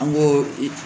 An ko i